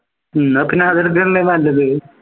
എന്നാ പിന്നെ അത് എടുക്കുന്നതല്ലേ നല്ലത്